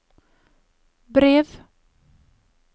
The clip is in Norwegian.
brev